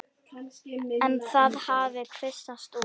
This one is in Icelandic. En það hafi kvisast út.